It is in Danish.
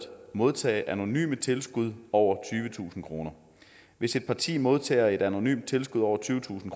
modtage anonyme tilskud over tyvetusind kroner hvis et parti modtager et anonymt tilskud over tyvetusind